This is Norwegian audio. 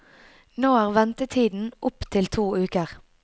Nå er ventetiden opp til to uker.